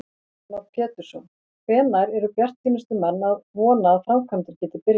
Heimir Már Pétursson: Hvenær eru bjartsýnustu menn að vona að framkvæmdir geti byrjað?